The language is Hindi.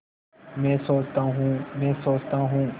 मैं सोचता हूँ मैं सोचता हूँ